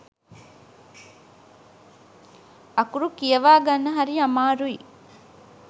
අකුරු කියවා ගන්න හරි අමාරුයි.